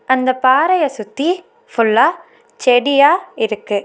அந்த பாறையை சுத்தி ஃபுல்லா செடியா இருக்கு.